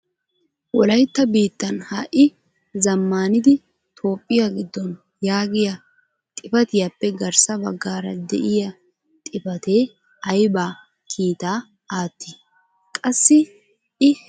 Wolaytta biittan ha'i zammanidi Toophiya giddon yaagiya xifaatiyappe garssa baggaara de'iyaa xifatee aybba kiitaa aattii? Qassi I hegan ayssi uttidee?